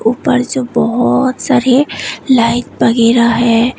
ऊपर जो बहोत सारे लाइट वगैरा है।